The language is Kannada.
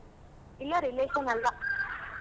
ಇಲ್ಲ relation ಅಲ್ಲ